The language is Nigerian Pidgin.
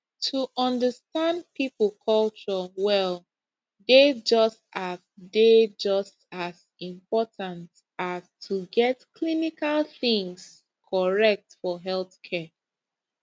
to understand people culture well dey just as dey just as important as to get clinical things correct for healthcare